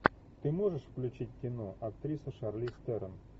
ты можешь включить кино актриса шарлиз терон